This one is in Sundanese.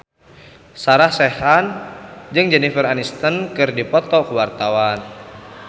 Sarah Sechan jeung Jennifer Aniston keur dipoto ku wartawan